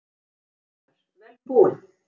Fréttamaður: Vel búin?